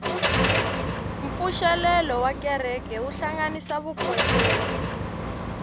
mpfuxelelo wa kereke wu hlanganisa vakhongeri